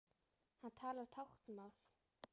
Hann talar táknmál.